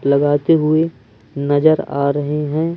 लगाते हुए नज़र आ रहे हैं।